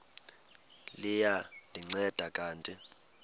liya ndinceda kanti